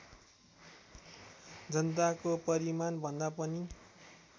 जनताको परिमाणभन्दा पनि